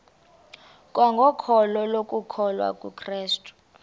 kwangokholo lokukholwa kukrestu